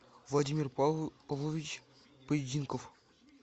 владимир павлович поединков